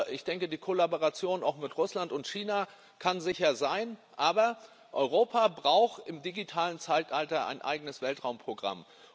Ich denke, die Kollaboration auch mit Russland und China kann sicher sein, aber Europa braucht im digitalen Zeitalter ein eigenes Weltraumprogramm.